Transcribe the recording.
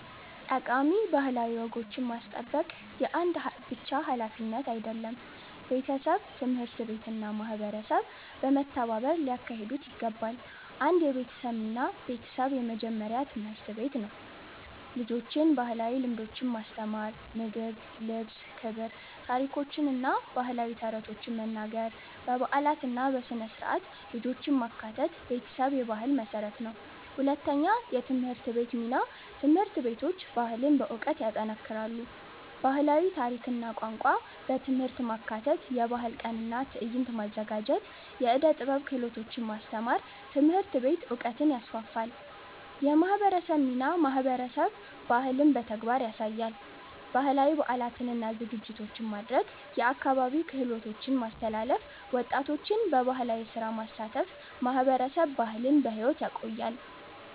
ጠቃሚ ባህላዊ ወጎችን ማስጠበቅ የአንድ ብቻ ሀላፊነት አይደለም፤ ቤተሰብ፣ ትምህርት ቤት እና ማህበረሰብ በመተባበር ሊያካሂዱት ይገባል። 1 የቤተሰብ ሚና ቤተሰብ የመጀመሪያ ትምህርት ቤት ነው። ልጆችን ባህላዊ ልምዶች ማስተማር (ምግብ፣ ልብስ፣ ክብር) ታሪኮችን እና ባህላዊ ተረቶችን መናገር በበዓላት እና በሥነ-ሥርዓት ልጆችን ማካተት ቤተሰብ የባህል መሠረት ነው። 2የትምህርት ቤት ሚና ትምህርት ቤቶች ባህልን በዕውቀት ይጠናክራሉ። ባህላዊ ታሪክ እና ቋንቋ በትምህርት ማካተት የባህል ቀን እና ትዕይንት ማዘጋጀት የዕደ ጥበብ ክህሎቶች ማስተማር ትምህርት ቤት ዕውቀትን ይስፋፋል። የማህበረሰብ ሚናማህበረሰብ ባህልን በተግባር ያሳያል። ባህላዊ በዓላትን እና ዝግጅቶችን ማድረግ የአካባቢ ክህሎቶችን ማስተላለፍ ወጣቶችን በባህላዊ ስራ ማሳተፍ ማህበረሰብ ባህልን በሕይወት ያቆያል።